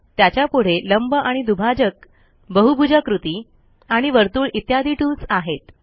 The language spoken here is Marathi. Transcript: त्याच्यापुढे लंब आणि दुभाजक बहुभुजाकृती आणि वर्तुळ इत्यादी टूल्स आहेत